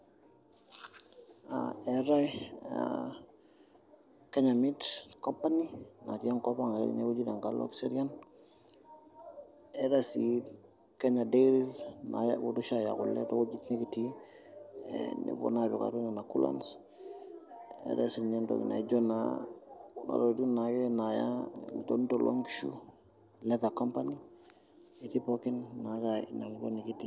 Etaai aa Kenya Meat Company natii enkop ang' enkalo Kiserian, eetai sii Kenya Dairies naalotu oshi aaya kule tewueji nikitii ee nepuo naa apik atua nena coolers neetai siinyeentoki naa ijio naa kuna weujitin naa akeyie naaya ilonito loonkishu leather company etii pookin naake inaalo nikitii.